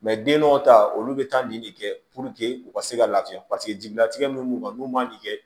den dɔw ta olu bɛ taa nin de kɛ u ka se ka lafiya paseke jigilatigɛ min kan n'u man nin kɛ